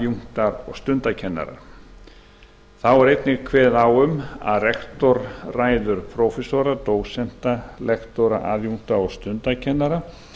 og stundakennarar þá er einnig kveðið á um að rektor ráði prófessora dósenta lektora aðjúnkta og stundakennara